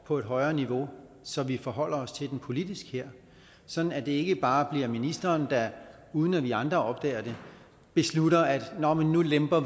på et højere niveau så vi forholder os til den politisk her sådan at det ikke bare bliver ministeren der uden at vi andre opdager det beslutter nå men nu lemper